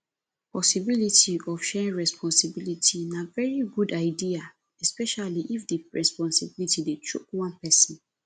possibility of sharing responsibility na very good idea especially if di responsibility dey choke one person